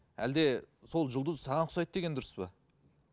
әлде сол жұлдыз саған ұқсайды деген дұрыс па